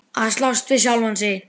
Að slást við sjálfan sig.